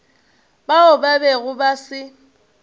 bao ba bego ba se